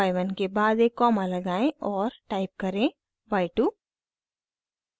y1 के बाद एक कॉमा लगाएं और टाइप करें y2